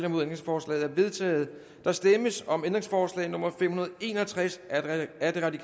ændringsforslaget er vedtaget der stemmes om ændringsforslag nummer fem hundrede og en og tres af rv